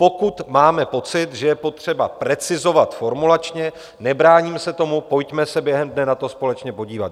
Pokud máme pocit, že je potřeba precizovat formulačně, nebráním se tomu, pojďme se během dne na to společně podívat.